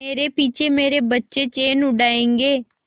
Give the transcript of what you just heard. मेरे पीछे मेरे बच्चे चैन उड़ायेंगे